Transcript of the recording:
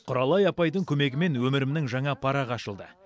құралай апайдың көмегімен өмірімнің жаңа парағы ашылды